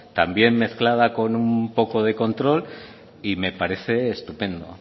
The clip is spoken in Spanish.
también mezclada con un poco de control y me parece estupendo